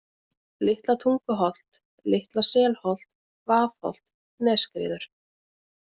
Litla-Tunguholt, Litla-Selholt, Vaðholt, Nesskriður